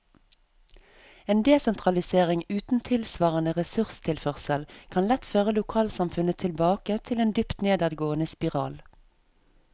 En desentralisering uten tilsvarende ressurstilførsel kan lett føre lokalsamfunnet tilbake til en dypt nedadgående spiral.